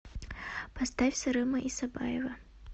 поставь сырыма исабаева